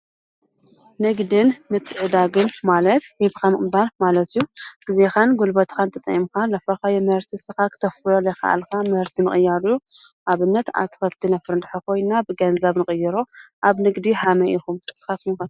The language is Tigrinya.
ንግድን ምትዕድዳግን ማለት ሂብካ ምቕባል ማለት እዩ ።ግዜኻን ጉልበትካን ተጠቒምካ ዘፍረኻዮ ምህርቲ ንስኻ ክተፍርዮ ዘይካኣልካ ምህርቲ ምቅያር እዩ። ኣብነት ኣትክልቲ ነፍሪ እንድሕር ኮይና ብገንዘብ ንቅይሮ ።ኣብ ንግዲ ከመይ ኢኹም ንስኻትኩም ከ?